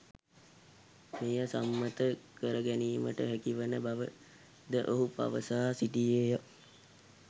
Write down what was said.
මෙය සම්මත කරගැනීමට හැකිවන බව ද ඔහු පවසා සිටියේ ය.